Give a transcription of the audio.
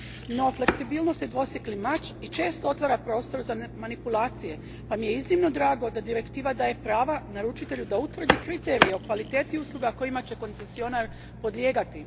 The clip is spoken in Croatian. No, fleksibilnost je dvosjekli mač i često otvara prostor za manipulacije pa mi je iznimno drago da Direktiva daje prava naručitelju da utvrdi kriterije o kvaliteti usluga kojima će koncesionar podlijegati.